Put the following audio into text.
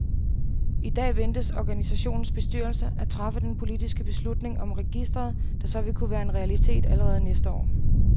I dag ventes organisationens bestyrelse at træffe den politiske beslutning om registret, der så vil kunne være en realitet allerede næste år.